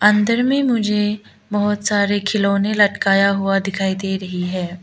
अंदर में मुझे बहुत सारे खिलौने लटकता हुआ दिखाई दे रही है।